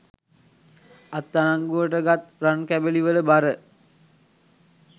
අත් අඩංගුවට ගත් රන් කැබැලි වල බර